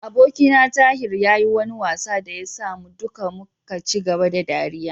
Abokina Tahir ya yi wani wasa da ya sa mu duka muka ci gaba da ɗariya.